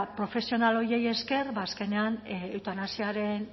profesional horiei esker azkenean eutanasiaren